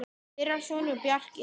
Þeirra sonur er Bjarki Hrafn.